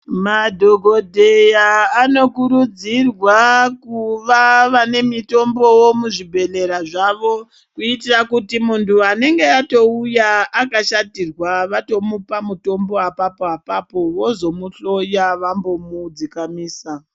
Madhokodheya anokurudzirwa kuva anemutombo muzvibhehleya zvavo kuitira kuti muntu anenge atouya akashatirwa vatomupa mutombo apapo apapo vozomuhloya vambomu dzikamisa.